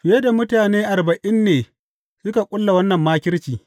Fiye da mutane arba’in ne suka ƙulla wannan makirci.